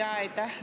Aitäh!